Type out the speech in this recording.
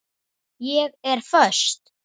Ég er föst.